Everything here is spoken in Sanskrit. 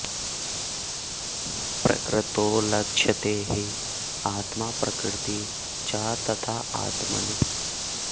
प्रकृतौ लक्ष्यते हि आत्मा प्रकृतिः च तथा आत्मनि